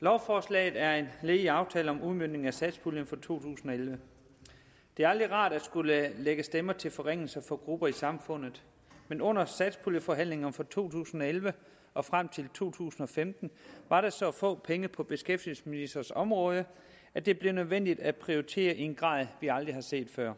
lovforslaget er et led i aftalen om udmøntning af satspuljen for to tusind og elleve det er aldrig rart at skulle lægge stemmer til forringelser for grupper i samfundet men under satspuljeforhandlingerne for to tusind og elleve og frem til to tusind og femten var der så få penge på beskæftigelsesministerens område at det blev nødvendigt at prioritere i en grad vi aldrig har set før